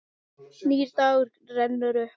Nýr dagur rennur upp.